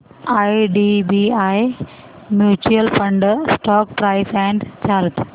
IDBI mutual fund stock price and chart